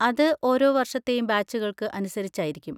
അത് ഓരോ വർഷത്തെയും ബാച്ചുകൾക്ക് അനുസരിച്ചായിരിക്കും.